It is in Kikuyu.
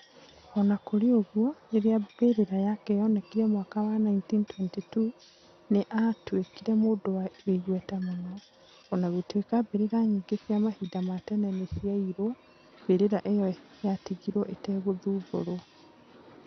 O na kũrĩ ũguo, rĩrĩa mbĩrĩra yake yoonekire mwaka wa 1922, nĩ aatuĩkire mũndũ wĩ igweta mũno. O na gũtuĩka mbĩrĩra nyingĩ cia mahinda ma tene nĩ ciaiirwo, mbĩrĩra ĩno yatigirwo ĩtegũthumbũrwo.